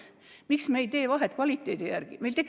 Miks me ei tee vahet kvaliteedi järgi?